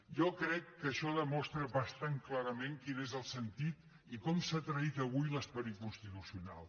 jo crec que això demostra bastant clarament quin és el sentit i com s’ha traït avui l’esperit constitucional